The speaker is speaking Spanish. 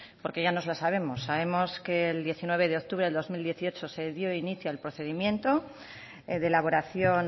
porque ya nos la sabemos sabemos que el diecinueve de octubre de dos mil dieciocho se dio inicio al procedimiento de elaboración